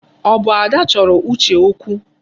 Ọ bụ Ada chọrọ Uche okwu?